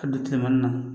Ka don tileman na